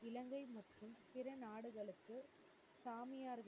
சாமியார்கள்.